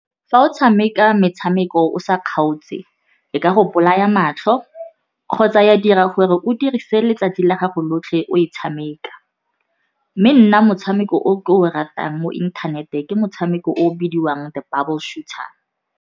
Fa o tshameka metshameko o sa kgaotse ka go bolaya matlho kgotsa ya dira gore o dirise letsatsi la gago lotlhe o e tshameka. Mme nna motshameko o ke o ratang mo inthaneteng, ke motshameko o o bidiwang The Bubble Shooter.